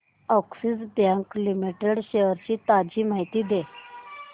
Axis bank limited shares ची ताजी माहिती दे